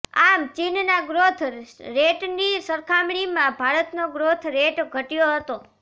આમ ચીનના ગ્રોથ રેટની સરખામણીમાં ભારતનો ગ્રોથ રેટ ઘટયો હતો